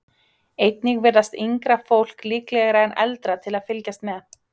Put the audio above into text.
Einnig virðast yngra fólk líklegra en eldra fólk til að fylgjast með.